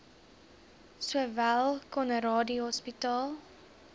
sowel conradie hospitaal